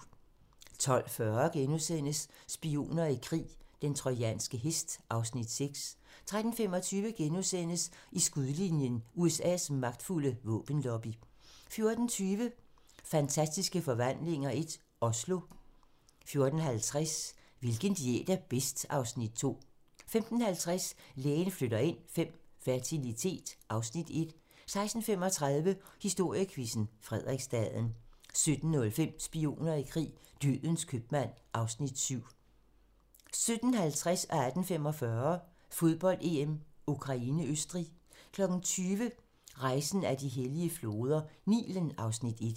12:40: Spioner i krig: Den trojanske hest (Afs. 6)* 13:25: I skudlinjen: USA's magtfulde våbenlobby * 14:20: Fantastiske Forvandlinger I - Oslo 14:50: Hvilken diæt er bedst? (Afs. 2) 15:50: Lægen flytter ind V - fertilitet (Afs. 1) 16:35: Historiequizzen: Frederiksstaden 17:05: Spioner i krig: Dødens købmand (Afs. 7) 17:50: Fodbold: EM - Ukraine-Østrig 18:45: Fodbold: EM - Ukraine-Østrig 20:00: Rejsen ad de hellige floder - Nilen (Afs. 1)